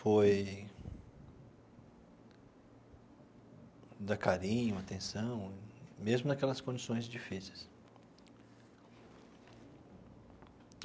foi dar carinho, atenção, mesmo naquelas condições difíceis.